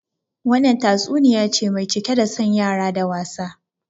Wannan tatsuniya ce mai cike da son yara da wasa